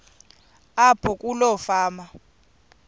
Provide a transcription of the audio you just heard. apho kuloo fama